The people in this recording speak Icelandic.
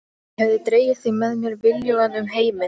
Ég hefði dregið þig með mér viljugan um heiminn.